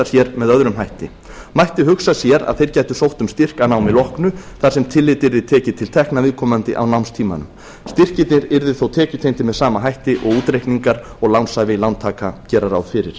sér með öðrum hætti mætti hugsa sér að þeir gætu sótt um styrk að námi loknu þar sem tekið yrði tillit til tekna viðkomandi á námstímanum styrkirnir yrðu þó tekjutengdir með sama hætti og útreikningar og lánshæfi lántaka gera ráð fyrir